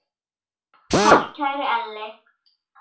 Takk, kæri Elli.